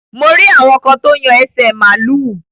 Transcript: Mo rí àwọn kan tó yan ẹsẹ̀ màlúù.